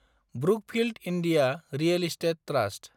Brookfield India real estate trust